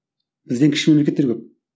бізден кіші мемлекеттер көп